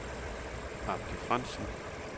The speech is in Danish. Abdi Frantzen